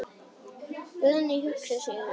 Guðný hugsar sig um.